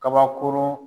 Kabakurun